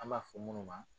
An b'a fɔ minnu ma